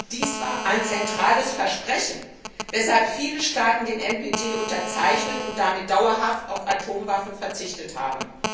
Dies war ein zentrales Versprechen, weshalb viele Staaten den Atomwaffensperrvertrag unterzeichnet und damit dauerhaft auf Atomwaffen verzichtet haben.